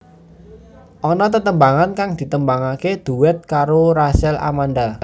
Ana tetembangan kang ditembangaké duet karo Rachel Amanda